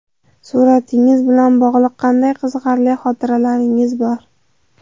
Suratingiz bilan bog‘liq qanday qiziqarli xotiralaringiz bor?